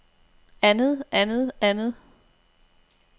andet andet andet